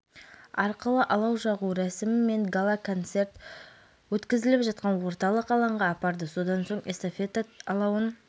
өңірлік эстафета алауы қаладағы тұңғыш президент саябағынан басталып алаугер оны болашақ университеті мен бұқарбай батыр ескерткіші